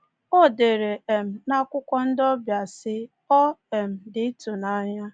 O dere um n’akwụkwọ ndị ọbịa sị: Ọ um dị ịtụnanya!